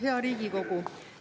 Hea Riigikogu!